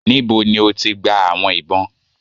Níbò̀ ni o tì gbà àwọn ìbọn?